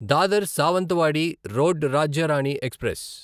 Dadar Sawantwadi road Rajya Rani express